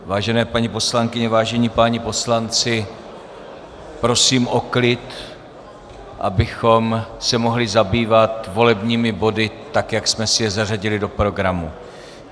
Vážené paní poslankyně, vážení páni poslanci, prosím o klid, abychom se mohli zabývat volebními body tak, jak jsme si je zařadili do programu.